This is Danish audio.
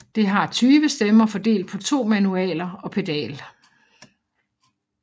Det har 20 stemmer fordelt på to manualer og pedal